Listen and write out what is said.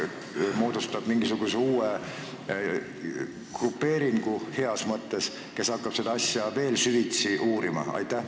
Kas ta moodustab mingisuguse uue grupeeringu heas mõttes, kes hakkab seda asja veel süvitsi uurima?